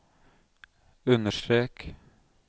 understrek